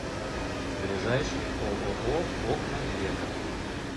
ближайший ооо окна века